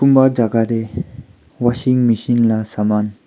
va jaka tae washing machine laga saman.